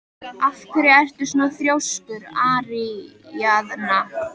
Af hverju ertu svona þrjóskur, Aríaðna?